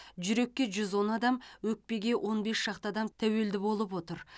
жүрекке жүз он адам өкпеге он бес шақты адам тәуелді болып отыр